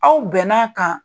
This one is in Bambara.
Aw bɛn'an kan